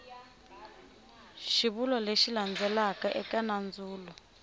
xivulwa lexi landzelaka eka nandzulo